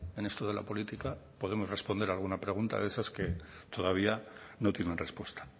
en esto de la política podemos responder alguna pregunta de esas que todavía no tienen respuesta